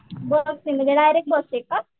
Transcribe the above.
बस नी म्हणजे direct bus आहे का?